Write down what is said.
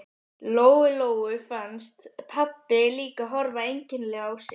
Lóu Lóu fannst pabbi líka horfa einkennilega á sig.